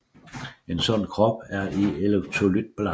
En sund krop er i elektrolytbalance